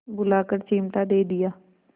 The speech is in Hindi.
बुलाकर चिमटा दे दिया